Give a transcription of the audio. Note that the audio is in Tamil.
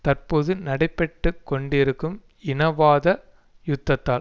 தற்போது நடைபெற்று கொண்டிருக்கும் இனவாத யுத்தத்தால்